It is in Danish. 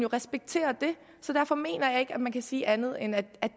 respektere så derfor mener jeg ikke at man kan sige andet end at